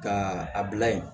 Ka a bila yen